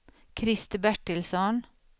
Krister Bertilsson